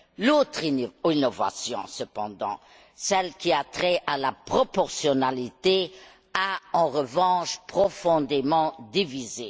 L'autre innovation, cependant, celle qui a trait à la proportionnalité, a en revanche profondément divisé.